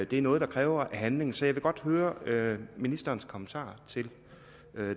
det er noget der kræver handling så jeg vil godt høre ministerens kommentarer til